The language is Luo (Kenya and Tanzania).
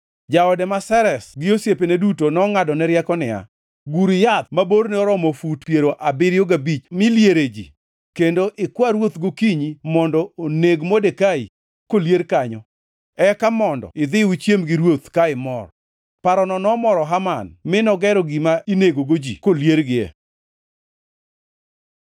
Jaode ma Zeresh gi osiepene duto nongʼadone rieko niya, “Gur yath ma borne oromo fut piero abiriyo gabich mi liere ji, kendo ikwa ruoth gokinyi mondo oneg Modekai kolier kanyo. Eka mondo idhi uchiem gi ruoth ka imor.” Parono nomoro Haman, mi nogero gima inegogo ji koliergi.